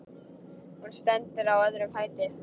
Hún stendur á öðrum fæti.